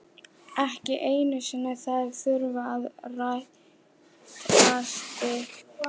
Ekki einu sinni þær þurfa að rætast.